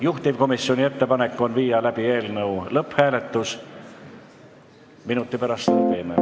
Juhtivkomisjoni ettepanek on viia läbi eelnõu lõpphääletus, minuti pärast seda teeme.